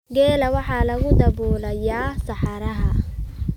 Geela waxa lagu daabulayaa saxaraha.